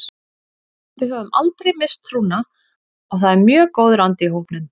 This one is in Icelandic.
Við höfum aldrei misst trúna og það er mjög góður andi í hópnum.